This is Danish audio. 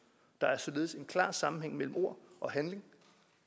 der er således en klar sammenhæng mellem ord og handling